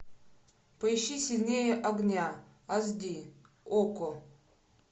поищи сильнее огня аш ди окко